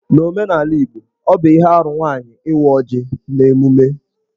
N'omenala Igbo, ọ bụ ihe arụ nwaanyị ị́wá ọ́jị̀ n'emume.